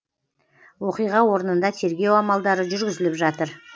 оқиға орнында тергеу амалдары жүргізіліп жатыр